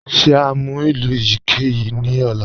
Ṣe à ǹ mú ilù eyikeyi ni ọ̀là?